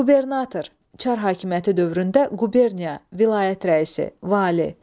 Qubernator, Çar höküməti dövründə quberniya vilayət rəisi, vali.